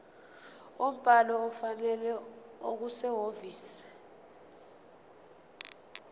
umbhalo ofanele okusehhovisi